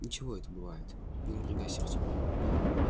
ничего это бывает не напрягайся артём